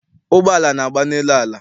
Ụgbọala na-agba n'elu ala.